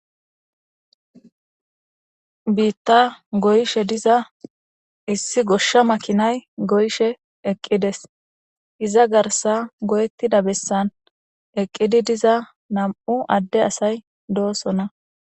biitta goyshe diza issi goshsha makinay goyshe eqqides iza garsa goyettida bessan eqqidi diza nam7u adde asay doosona